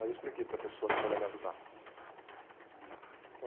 Aí eu expliquei para a pessoa que foi lá me ajudar.